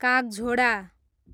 कागझोडा